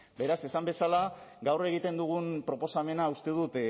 beraz esan bezala gaur egiten dugun proposamena uste dut